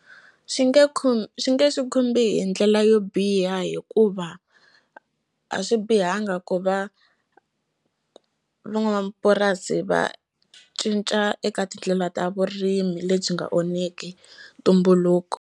Swi nge swi nge swi khumbhi hi ndlela yo biha hikuva a swi bihanga ku va van'wamapurasi va cinca eka tindlela ta vurimi lebyi nga onheki ntumbuluko.